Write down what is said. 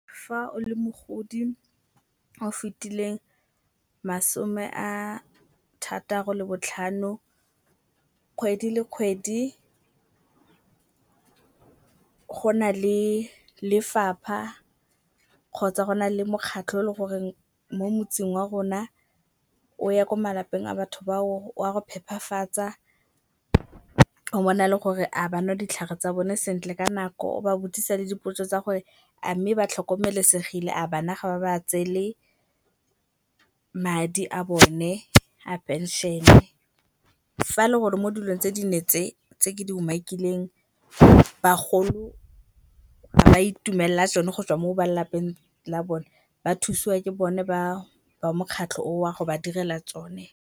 Fa o le mogodi o fetileng masome a thataro le botlhano kgwedi le kgwedi go na le lefapha kgotsa go na le mokgatlho o le goreng mo motseng wa rona o ya ko malapeng a batho ba o, wa go phephafatsa. O bona le gore a ba nwa ditlhare tsa bone sentle ka nako, o ba botsisa le dipotso tsa gore a mme ba tlhokomelesegile, a bana ga ba ba tseele madi a bone a phenšene. Fa le gore mo dilong tse dine tse tse ke di umakileng bagolo ga ba itumelela tsone go tswa mo ba lelapeng la bone ba thusiwa ke bone ba mokgatlho oo go ba direla tsone.